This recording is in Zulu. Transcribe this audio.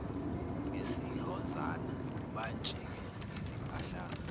ngesidlozana bantshinge izimpahlana